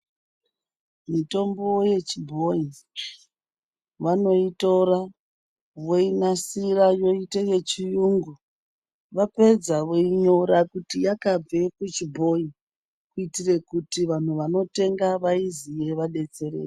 Mitombo yechibhoyi vanoyitora voyinasira yoite yechiyungu, vapedza voyinyora kuti yakabve kuchibhoyi kuitire kuti vanhu vanotenga vayiziye vadetsereke.